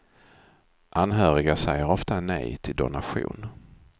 Anhöriga säger ofta nej till donation.